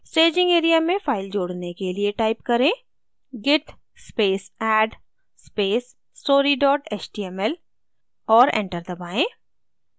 staging area में file जोड़ने के लिए type करें git space add space story html और enter दबाएँ